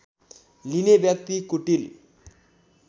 लिने व्यक्ति कुटिल